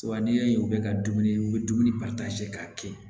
Wa n'i y'a ye u bɛ ka dumuni u bɛ dumuni k'a kɛ